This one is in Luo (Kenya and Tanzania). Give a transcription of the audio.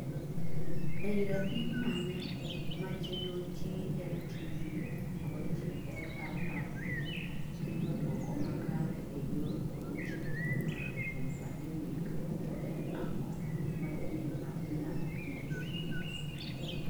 Ei rapim mane ma chenro GLTV kod GLRRP kelo duoko makare ee yor puonj kokalo kuom pandemic to en ang'o manyien maa inyalo puonjri